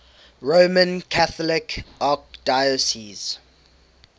roman catholic archdiocese